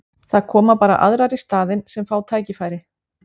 Það koma bara aðrar í staðinn sem fá tækifæri.